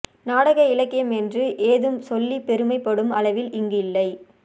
நாடக இலக்கியம் என்று ஏதும் சொல்லிப் பெருமை படும் அளவில் இங்கு இல்லை